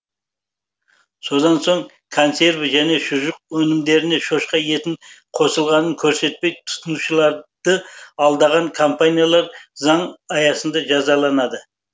содан соң консерві және шұжық өнімдеріне шошқа еті қосылғанын көрсетпей тұтынушыларды алдаған компаниялар заң аясында жазаланады